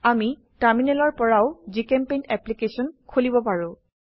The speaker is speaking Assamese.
আমি টাৰ্মিনেলৰ পৰাও জিচেম্পেইণ্ট এপ্লিকেশন খুলিব পাৰো